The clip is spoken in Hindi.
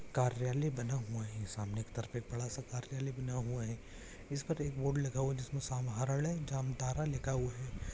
कार्यालय बना हुआ है सामने की तरफ एक बड़ा सा कार्यालय बना हुआ है इस पर एक बोर्ड लगा हुआ है जिसमें समारलय जामताड़ा लिखा हुआ है।